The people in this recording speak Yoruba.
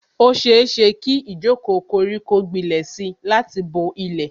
Ó ṣeéṣe kí ijoko koriko gbilẹ̀ si láti bo ilẹ̀